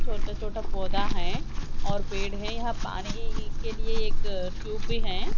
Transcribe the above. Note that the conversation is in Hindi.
छोटा छोटा पौधा हैं और पेड़ हैं या पानी के लिए एक ट्यूब भी हैं।